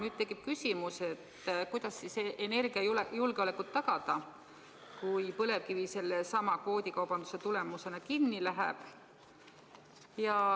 Aga tekib küsimus, kuidas tagada energiajulgeolekut, kui põlevkivi kvoodikaubanduse tulemusena kinni läheb.